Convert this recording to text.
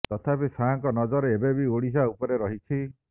ତଥାପି ଶାହାଙ୍କ ନଜର ଏବେ ବି ଓଡିଶା ଉପରେ ରହିଛି